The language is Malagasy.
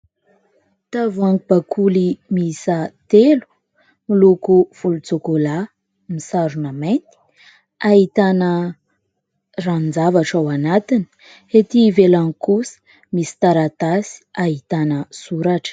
Tavoahangy bakoly miisa telo miloko volontsokola. Misarona mainty. Ahitana ranon-javatra ao anatiny. Ety ivelany kosa misy taratasy ahitana soratra.